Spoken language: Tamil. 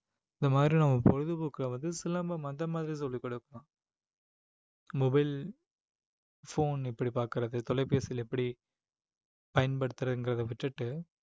இந்த மாதிரி நம்ம பொழுதுபோக்குகாவது வந்து சிலம்பம் அந்த மாதிரி சொல்லிக் கொடுப்போம் mobile phone இப்படி பார்க்கிறது தொலைபேசியில் எப்படி பயன்படுத்துறதுங்கிறத விட்டுட்டு